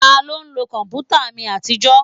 Taló ń lo kọ̀mpútà mi àtijọ́?